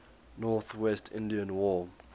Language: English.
northwest indian war